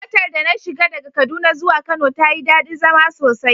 Motar da na shiga daga kaduna zuwa kano tayi dadi zama sosai.